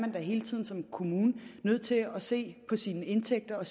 hele tiden som kommune nødt til at se på sine indtægter og